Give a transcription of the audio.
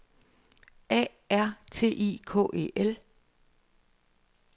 A R T I K E L